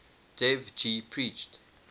dev ji preached